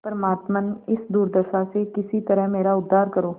परमात्मन इस दुर्दशा से किसी तरह मेरा उद्धार करो